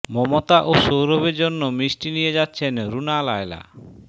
মমতা ও সৌরভের জন্য মিষ্টি নিয়ে যাচ্ছেন রুনা লায়লা